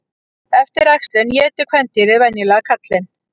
Eftir æxlun étur kvendýrið venjulega karlinn.